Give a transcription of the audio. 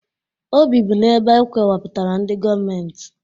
O bibu n'ebe e kewapụtara ndị gọọmentị